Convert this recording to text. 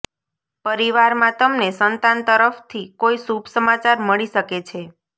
પરિવારમાં તમને સંતાન તરફથી કોઈ શુભસમાચાર મળી શકે છે